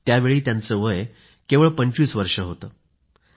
त्यावेळी त्यांचं वय केवळ 25 वर्ष होतं